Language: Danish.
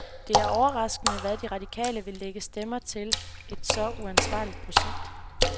Det er overraskende, at de radikale vil lægge stemmer til et så uansvarligt projekt.